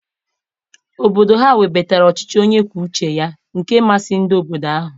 Obodo ha webatara ọchịchị onye kwuo uche ya nke masịrị ndị obodo ahụ.